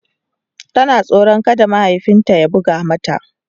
Tana tsoron kada mahaifin ta ya buga mata.